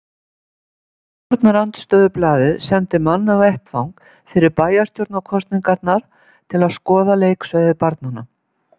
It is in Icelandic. Eitt stjórnarandstöðublaðið sendi mann á vettvang fyrir bæjarstjórnarkosningarnar til að skoða leiksvæði barnanna.